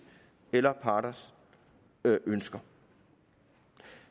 eller parrets ønsker